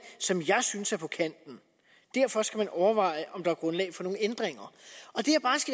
som jeg synes er på kanten derfor skal man overveje om der er grundlag for nogle ændringer